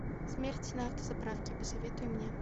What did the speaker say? смерть на автозаправке посоветуй мне